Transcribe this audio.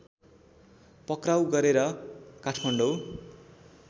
पक्राऊ गरेर काठमाडौँ